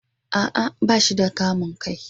a'a bashi da kamun kai.